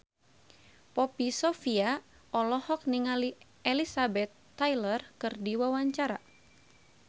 Poppy Sovia olohok ningali Elizabeth Taylor keur diwawancara